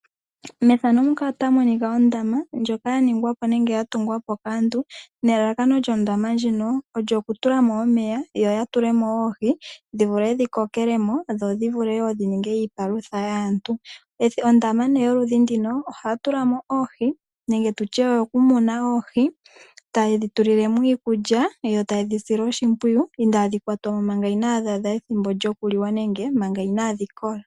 Efano ndika otali ulike ondama ndjoka yaningwapo nenge ya tungwapo kaantu, nelalakano lyondama ndjino olyo oku tulamo omeya yoya tulemo oohi dhi vule dhi kokelemo , dho dhivule wo dhi ninge iipalutha yaantu. Ondama nee yoludhi nduno oha tu tulamo oohi nenge tutye oyoku muna oohi, taye dhi tulile mo iikulya yotayedhi sile oshimpwiyu inaadhi kwatwamo manga ethimbo lyoku liwa nenge manga inadhi kola.